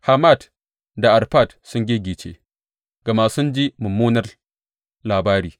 Hamat da Arfad sun giggice, gama sun ji mummunar labari.